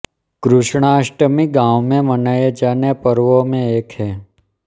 कृष्णाष्टमी गाँव मे मनाये जाने पर्वों मे एक है